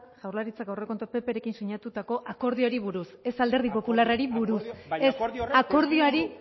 jaurlaritzak aurrekontuak pprekin sinatutako akordioari buruz ez alderdi popularrari buruz akordioa baino akordio horrek ez akordioari